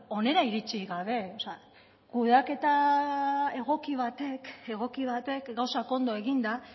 beno hona iritsi gabe kudeaketa egoki batek gauzak ondo eginda